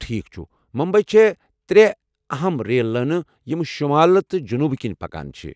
ٹھیكھ چھٗ ، ممبی چھےٚ ترےٚ اہم ریل لٲنہٕ یمہٕ شمالہٕ تہٕ جنوٗبہٕ کِنہِ پکان چھےٚ ۔